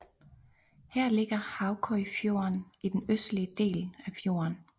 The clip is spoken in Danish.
Her ligger Haukøyfjorden i den østlige del af fjorden